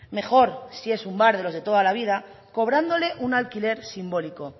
mejor si es un bar de los de toda la vida cobrándole un alquiler simbólico